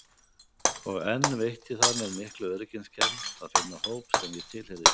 Og enn veitti það mér mikla öryggiskennd að finna hóp sem ég tilheyrði.